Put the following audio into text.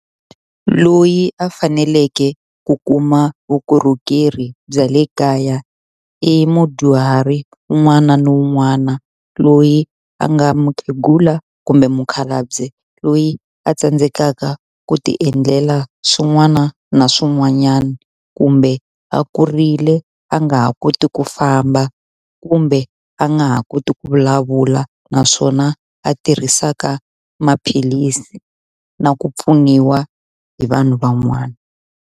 Loyi a faneleke ku kuma vukorhokeri bya le kaya i mudyuhari un'wana ni un'wana loyi a nga mukhegula kumbe mukhalabye, loyi a tsandzekaka ku ti endlela swin'wana na swin'wanyana, kumbe a kurile a nga ha koti ku famba, kumbe a nga ha koti ku vulavula, naswona a tirhisaka maphilisi na ku pfuniwa hi vanhu van'wana.